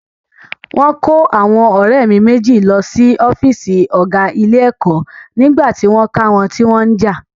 Wọ́n kó àwọn ọ̀rẹ́ mi méjì lọ sí ọ́fíìsì ọ̀gá ilé-ẹ̀kọ́ nígbà tí wọ́n ká wọn tí wọ́n ń jà.